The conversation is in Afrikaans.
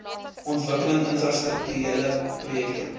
ontwikkeling infrastrukturele projekte